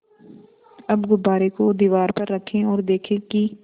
अब गुब्बारे को दीवार पर रखें ओर देखें कि